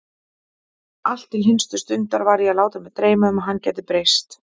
Allt til hinstu stundar var ég að láta mig dreyma um að hann gæti breyst.